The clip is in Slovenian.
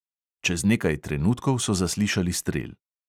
Čez nekaj trenutkov so zaslišali strel.